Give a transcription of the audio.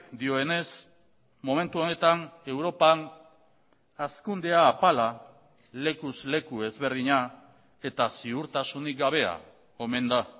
dioenez momentu honetan europan hazkundea apala lekuz leku ezberdina eta ziurtasunik gabea omen da